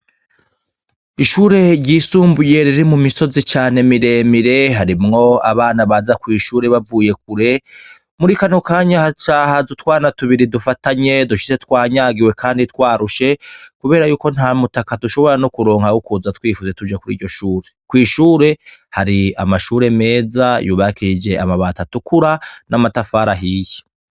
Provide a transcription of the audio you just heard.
Ishure ryisumbuye riri mu misozi cane miremire harimwo abana baza kw'ishure bavuye kure, muri kano kanya haca haza utwana tubiri dufatanye dushitse twanyagiwe, kandi twarushe, kubera yuko nta mutaka dushobora no kuronka wo kuza twifutse tuje kuri iryo shure, kw'ishure hari amashure meza yubakishije amabati atukura n'amatafari ahiye.